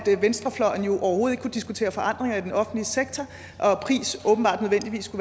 venstrefløjen jo overhovedet ikke kunne diskutere forandringer i den offentlige sektor